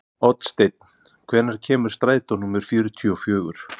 Oddsteinn, hvenær kemur strætó númer fjörutíu og fjögur?